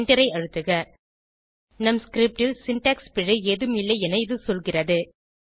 எண்டரை அழுத்துக நம் ஸ்கிரிப்ட் ல் சின்டாக்ஸ் பிழை ஏதும் இல்லை என இது சொல்கிறது